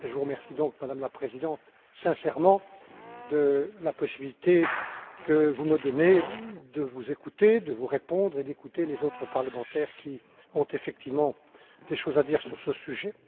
Je vous remercie donc, Madame la Présidente, sincèrement de la possibilité que vous me donnez de vous écouter, de vous répondre et d'écouter les autres parlementaires qui ont effectivement des choses à dire sur ce sujet.